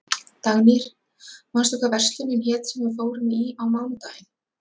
Dagnýr, manstu hvað verslunin hét sem við fórum í á mánudaginn?